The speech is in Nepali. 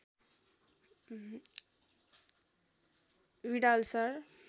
Widal sir